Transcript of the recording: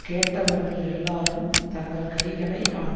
கேட்டவர்கள் எல்லாரும் தங்கள் கைகளை அவன்